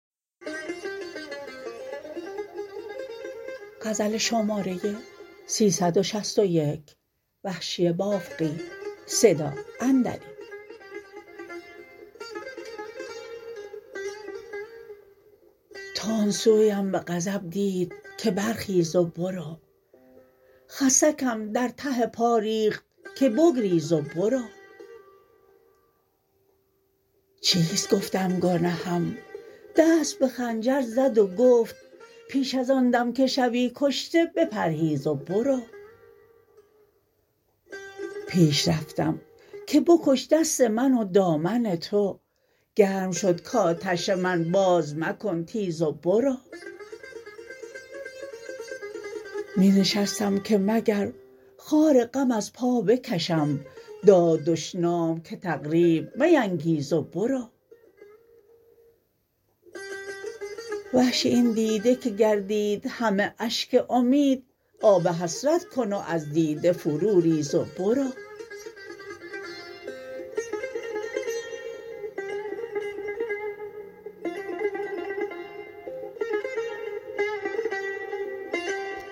تند سویم به غضب دید که برخیز و برو خسکم در ته پا ریخت که بگریز و برو چیست گفتم گنهم دست به خنجر زد و گفت پیش از آن دم که شوی کشته بپرهیز و برو پیش رفتم که بکش دست من و دامن تو گرم شد کاتش من باز مکن تیز و برو می نشستم که مگر خار غم از پا بکشم داد دشنام که تقریب مینگیز و برو وحشی این دیده که گردید همه اشک امید آب حسرت کن و از دیده فرو ریز و برو